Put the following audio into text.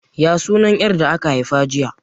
Ya sunan 'yar da aka haifa jiya?